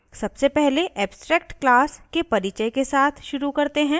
सबसे पहले abstract class के परिचय के साथ शुरू करते हैं